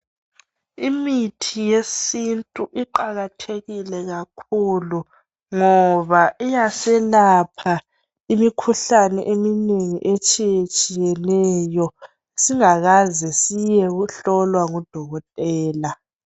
Imithi yesintu iqakathekile kakhulu ngoba iyasilapha imikhuhlane eminengi etshiye tshiyeneyo singakaze siyehlolwa ngudokotela.